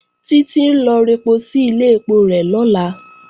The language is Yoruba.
Títí ń lọ rẹpo sí ilé ẹpo rẹ̀ lọ́la